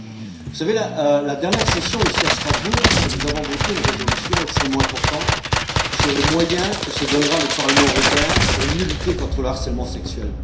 Lors de la dernière session, ici, nous avons voté une résolution extrêmement importante sur les moyens que se donnera le Parlement européen pour mieux lutter contre le harcèlement sexuel.